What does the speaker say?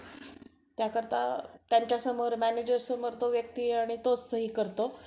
त्या करता त्यांच्या manager समोर तो व्यक्ती आणि तो सही करतो.